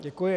Děkuji.